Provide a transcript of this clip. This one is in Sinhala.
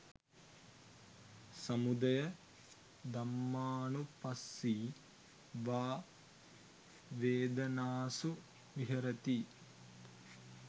සමුදය ධම්මානුපස්සී වා වේදනාසු විහරති